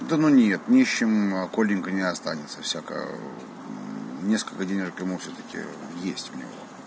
да ну нет нищим коленька не останется всяко несколько денежек ему всё-таки есть у него